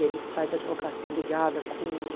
E ele faz advocacia ligada com...